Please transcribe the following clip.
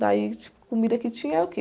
Daí, comida que tinha era o quê?